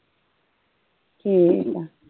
ਠੀਕ ਆ